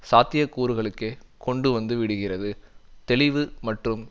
சாத்தியக்கூறுகளுக்கே கொண்டு வந்து விடுகிறது தெளிவு மற்றும்